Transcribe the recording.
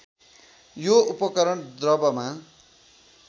यो उपकरण द्रवमा